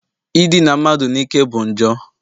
Idina mmadụ n'ike bụ njọ